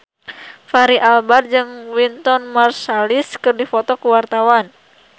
Fachri Albar jeung Wynton Marsalis keur dipoto ku wartawan